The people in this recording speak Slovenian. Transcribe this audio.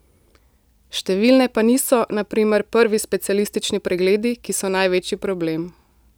Številne pa niso, na primer prvi specialistični pregledi, ki so največji problem.